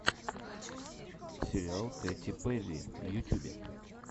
сериал кэти перри в ютюбе